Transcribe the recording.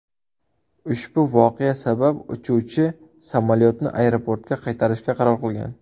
Ushbu voqea sabab uchuvchi samolyotni aeroportga qaytarishga qaror qilgan.